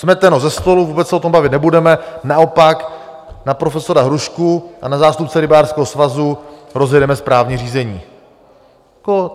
Smeteno ze stolu, vůbec se o tom bavit nebudeme, naopak na profesora Hrušku a na zástupce rybářského svazu rozjedeme správní řízení.